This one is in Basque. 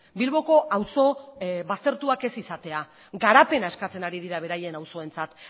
bilboko auzo baztertuak ez izatea garapena eskatzen ari dira beraien auzoentzat